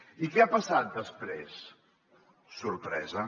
i què ha passat després sorpresa